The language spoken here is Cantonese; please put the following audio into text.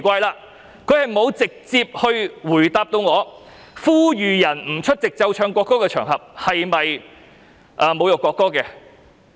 他沒有直接回答我，呼籲人不出席須奏唱國歌的場合是否侮辱國歌。